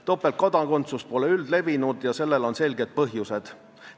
Topeltkodakondsus pole üldlevinud ja sellel on selged põhjused.